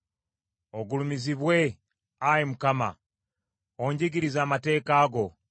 Ogulumizibwe, Ayi Mukama ; onjigirize amateeka go.